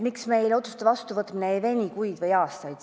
Miks meil otsuste vastuvõtmine ei veni kuid või aastaid?